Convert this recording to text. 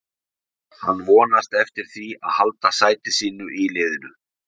Hann vonast eftir því að halda sæti sínu í liðinu.